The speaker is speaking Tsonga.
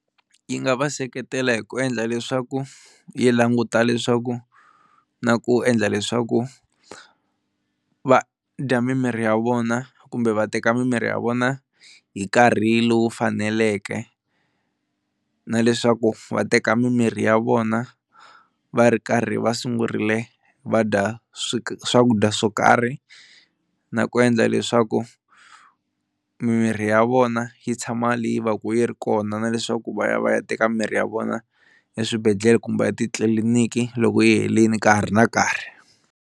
Yi nga va seketela hi ku endla leswaku yi languta leswaku na ku endla leswaku va dya mimirhi ya vona kumbe va teka mimirhi ya vona hi nkarhi lowu faneleke na leswaku va teka mimirhi ya vona va ri karhi va sungurile va dya swakudya swo karhi, na ku endla leswaku mimirhi ya vona yi tshama leyi va ka yi ri kona na leswaku va ya va ya teka mirhi ya vona eswibedhlele kumbe etitliliniki loko yi helini ka ha ri na nkarhi.